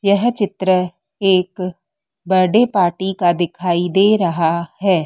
यह चित्र एक बर्डे पार्टी का दिखाई दे रहा है।